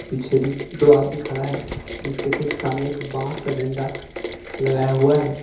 पीछे भी दो आदमी खड़ा है जिसके ठीक सामने एक बांस का डंडा लगाया हुआ है।